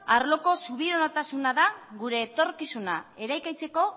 arloko subiranotasuna da gure etorkizuna eraikitzeko